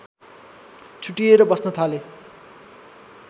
छुट्टिएर बस्न थाले